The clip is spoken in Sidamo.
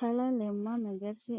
Kalaa lemma megersa